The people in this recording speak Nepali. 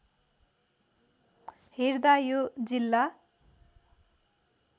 हेर्दा यो जिल्ला